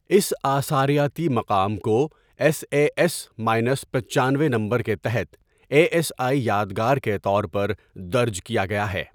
اس آثاریاتی مقام کو ایس اے ایس ماینس پچانوے نمبر کے تحت اے ایس آئی یادگار کے طور پر درج کیا گیا ہے.